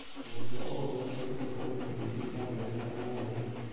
mũrutwo owothe abatie gũkorwo na indo iria irathomeka na ũhũthũ.